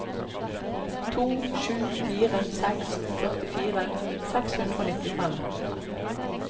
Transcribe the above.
to sju fire seks førtifire seks hundre og nittifem